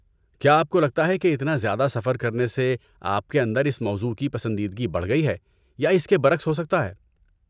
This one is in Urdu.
کیا آپ کو لگتا ہے کہ اتنا زیادہ سفر کرنے سے آپ کے اندر اس موضوع کی پسندیدگی بڑھ گئی ہے یا اس کے برعکس ہو سکتا ہے؟